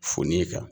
Foni kan